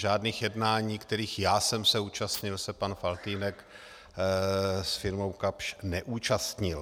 Žádných jednání, kterých já jsem se účastnil, se pan Faltýnek s firmou Kapsch neúčastnil.